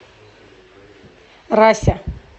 рася